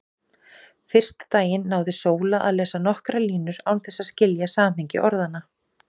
Fyrsta daginn náði Sóla að lesa nokkrar línur án þess að skilja samhengi orðanna.